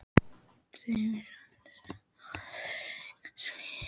Þeim sem handtóku mann hennar fyrir engar sakir!